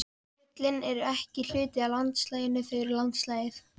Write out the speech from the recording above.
Fjöllin eru ekki hluti af landslaginu, þau eru landslagið.